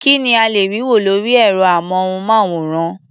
Kí ni a lè rí wò lórí ẹ̀rọ-amóhùnmáwòrán?